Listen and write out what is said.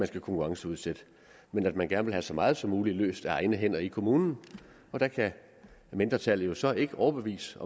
skal konkurrenceudsætte men at man gerne vil have så meget som muligt løst af egne hænder i kommunen der kan mindretallet jo så ikke overbevise